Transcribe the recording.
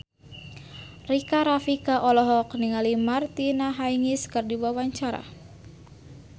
Rika Rafika olohok ningali Martina Hingis keur diwawancara